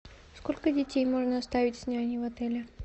сколько детей можно оставить с няней в отеле